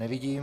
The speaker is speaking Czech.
Nevidím.